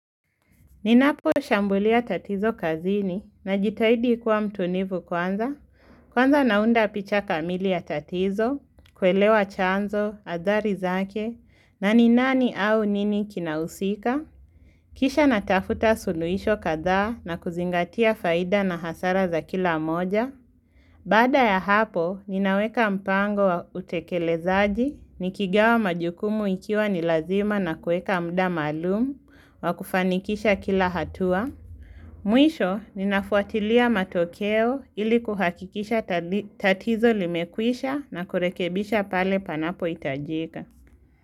Ninaposhambulia tatizo kazini na jitahidi kuwa mtulivu kwanza. Kwanza naunda picha kamili ya tatizo, kuelewa chanzo, athari zake, na ni nani au nini kinahusika. Kisha natafuta suluhisho kadhaa na kuzingatia faida na hasara za kila moja. Baada ya hapo, ninaweka mpango wa utekelezaji, nikigawa majukumu ikiwa nilazima na kuweka muda maalumu, wakufanikisha kila hatua. Mwisho, ninafuatilia matokeo ili kuhakikisha tatizo limekwisha na kurekebisha pale panapo hitajika.